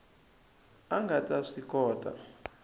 a nga ta swi kota